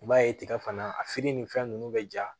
I b'a ye tiga fana a feere ni fɛn ninnu bɛ ja